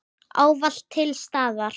Ávallt til staðar.